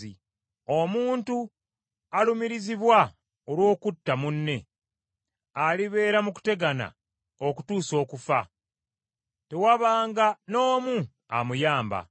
Omuntu alumirizibwa olw’okutta munne, alibeera mu kutegana okutuusa okufa, tewabanga n’omu amuyamba.